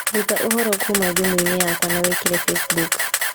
rũta ũhoro kuuma thimũ-inĩ yakwa na wĩkĩre facebook